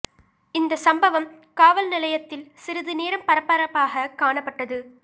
இந்த சம்பவம் காவல் நிலையத்தில் சிறிது நேரம் பரபரப்பாக காணப்பட்டது